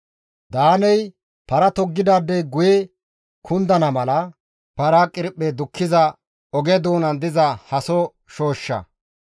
Daaney para toggidaadey guye kundana mala para qirphe dukkiza oge doonan diza haso shooshsha.